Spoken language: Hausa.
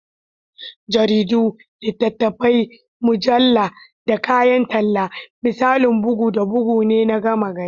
Jaridu, littattafai, mujallu, da kayan talla, misalan bugu da bugu ne na gama-gari.